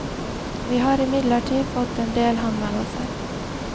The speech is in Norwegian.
Vi har imidlertid fått endel henvendelser.